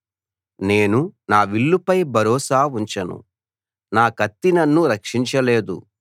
నేను నా విల్లుపై భరోసా ఉంచను నా కత్తి నన్ను రక్షించలేదు